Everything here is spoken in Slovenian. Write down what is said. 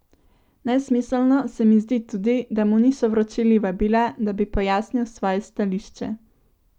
Nesmiselno se mu zdi tudi, da mu niso vročili vabila, da bi pojasnil svoje stališče.